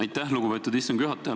Aitäh, lugupeetud istungi juhataja!